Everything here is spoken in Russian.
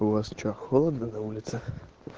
у вас что холодно на улице